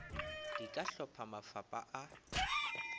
di ka hlopha mafapa a